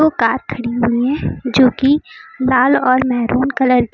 दो कार खड़ी हुई है जो की लाल और मेहरून कलर की--